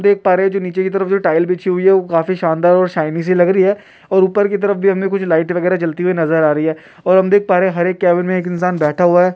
हम देख पा रहे निचे की तरफ जो टाइल बिछी हुई है काफी शानदार और शाइनिंग सी लग रही है। ऊपर की तरफ भी हमें कुछ लाइटे वगैरह जलती हुई नजर आ रही है और हम देख पा रहे है हरे केबिन में एक इंसान बैठा हुआ है।